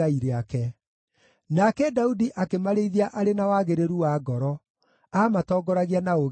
Nake Daudi akĩmarĩithia arĩ na wagĩrĩru wa ngoro; aamatongoragia na ũũgĩ wa moko make.